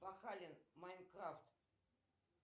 пахалин майнкрафт